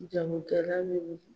Jagokɛla ninnu